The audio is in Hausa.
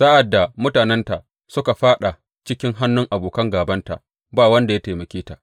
Sa’ad da mutanenta suka faɗa cikin hannun abokan gābanta, ba wanda ya taimake ta.